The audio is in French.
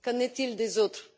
Qu'en est il des autres?